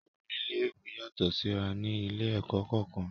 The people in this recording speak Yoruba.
Owó ilé-ìwé yàtọ̀ síra ní ilé-ẹ̀kọ́ kọ̀ọ̀kan.